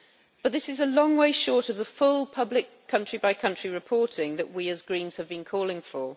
But this is a long way short of the full public country by country reporting that we as Greens have been calling for.